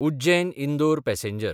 उज्जैन–इंदोर passenger